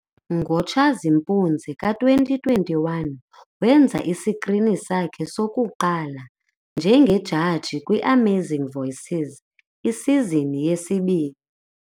Ngo-Tshazimpunzi ka-2021, wenza isikrini sakhe sokuqala njengejaji kwi-Amazing Voices isizini yesibini.